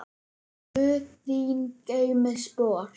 Guð þín geymi spor.